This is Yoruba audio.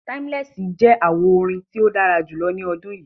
Timeless jẹ àwo-orin tí o dára julọ ní odún yí